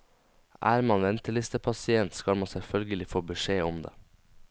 Er man ventelistepasient, skal man selvfølgelig få beskjed om det.